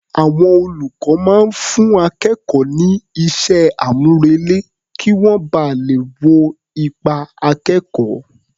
Àwọn olùkọ́ máa ń fún akẹ́kọ̀ọ́ ní iṣẹ́-àmúrelé kí wọ́n ba lè wo ipa akẹ́kọ̀ọ́.